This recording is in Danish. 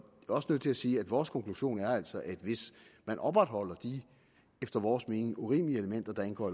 også nødt til at sige at vores konklusion altså er at hvis man opretholder de efter vores mening urimelige elementer der indgår